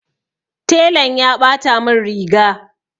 Telan ya ɓata mun riga.